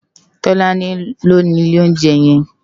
Tolani ló ni ilé óunjè yèn